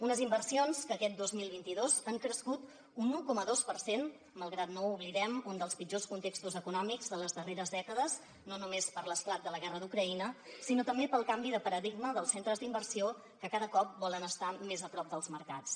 unes inversions que aquest dos mil vint dos han crescut un un coma dos per cent malgrat no ho oblidem un dels pitjors contextos econòmics de les darreres dècades no només per l’esclat de la guerra d’ucraïna sinó també pel canvi de paradigma dels centres d’inversió que cada cop volen estar més a prop dels mercats